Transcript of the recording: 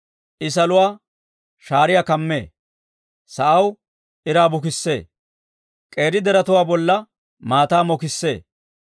I saluwaa shaariyaa kamee; sa'aw iraa bukissee; k'eeri deretuwaa bolla maataa mokissee.